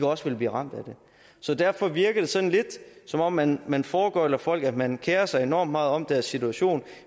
også vil blive ramt af det så derfor virker det sådan lidt som om man man foregøgler folk at man kerer sig enormt meget om deres situation